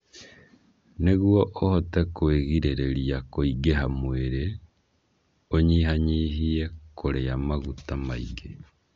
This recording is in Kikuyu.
Nĩguo ũhote kwĩgirĩrĩria kũingĩha mwĩrĩ, ũnyihanyihie kũrĩa maguta maingĩ.